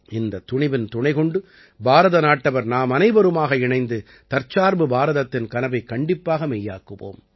இந்தத் துணிவின் துணை கொண்டு பாரதநாட்டவர் நாமனைவருமாக இணைந்து தற்சார்பு பாரதத்தின் கனவைக் கண்டிப்பாக மெய்யாக்குவோம்